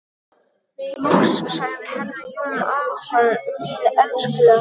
Loks sagði herra Jón Arason: Mín elskuleg.